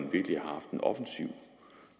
når